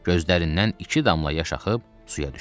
Gözlərindən iki damla yaş axıb suya düşdü.